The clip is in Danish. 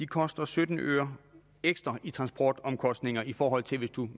koster sytten øre ekstra i transportomkostninger i forhold til